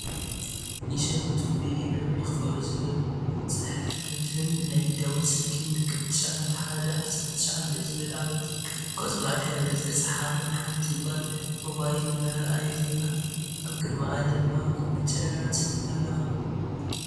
ይሸምቱ ብኢ- ብር ይክፈሉ ዝብል ፅሑፍን ናይ ደወል ስልኪ ምልክት 9119 ዝብል ኣበ ቆፅላዋይ ሕብሪ ዝተፃሕፈን ሓንቲ ጎል ሞባይል እናርኣየትን ኣብ ቅድምኣ ድማ ኮሚፕተራት ኣለዋ።